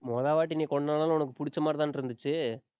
மொதவாட்டி நீ கொண்டாடினாலும், உனக்கு புடிச்ச மாதிரி தானே இருந்துச்சு.